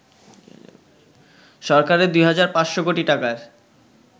সরকারের ২ হাজার ৫০০ কোটি টাকার